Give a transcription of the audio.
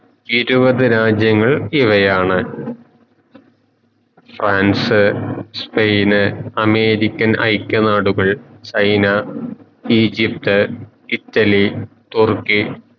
ഇരുവത് രാജ്യങ്ങൾ ഇവയാണ് ഫ്രാൻസ് സ്പെയിന് അമേരിക്കൻ ഐക നാടുകൾ ചൈന ഈജിപ്ത് ഇറ്റലി തുർക്കി